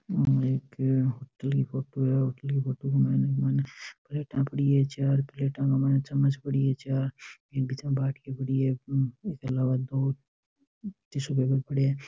यह एक होटल की फोटो है होटल की फोटो के मायने प्लेटा पड़ी है चार प्लेटा के मायने चम्मच पड़ी है चार इक बीच में बाटकी पड़ी है इसके अलावा दो टिश्यू पेपर पड़या है।